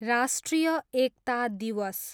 राष्ट्रिय एकता दिवस